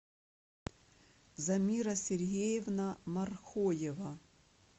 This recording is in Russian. замира сергеевна мархоева